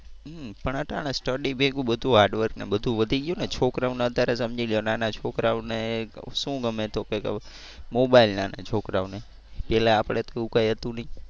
હમ્મ પણ અટાણે study ભેગું બધુ hard work ને બધુ વધી ગયું ને. છોકરાઓને અત્યારે સમજી લો નાના છોકરાઓ ને શું ગમે તો કે કે મોબાઈલ ને છોકરાઓને પેલા આપડે તો એવું કઈ હતું નહીં.